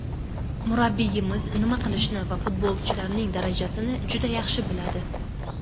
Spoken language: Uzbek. Murabbiyimiz nima qilishni va futbolchilarning darajasini juda yaxshi biladi.